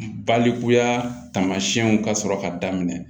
Balikuya taamasiyɛnw ka sɔrɔ ka daminɛ